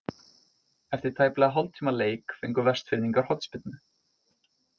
Eftir tæplega hálftíma leik fengu Vestfirðingar hornspyrnu.